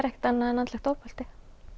ekkert annað en andlegt ofbeldi